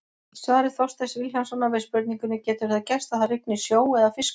Í svari Þorsteins Vilhjálmssonar við spurningunni Getur það gerst að það rigni sjó eða fiskum?